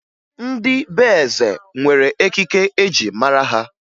Ndị be eze nwere ekike e ji mara ha